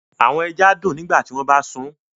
Awọn ẹja dun nigbati wọn ba mu